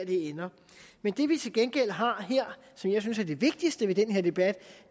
det ender men det vi til gengæld har her som jeg synes er det vigtigste ved den her debat